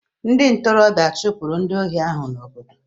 Ndị ntorobịa a chụpụrụ ndị ohi ahụ n'obodo?